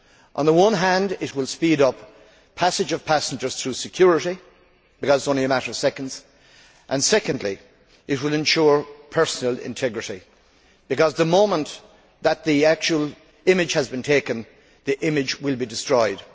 Firstly, it will speed up the passage of passengers through security because it is only a matter of seconds and, secondly, it will ensure personal integrity, because the moment that the actual image has been taken, the image will be destroyed.